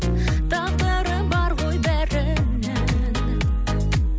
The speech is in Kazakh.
тағдыры бар ғой бәрінің